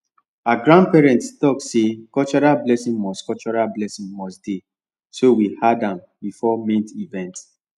her grandparents talk say cultural blessing must cultural blessing must dey so we add am before main event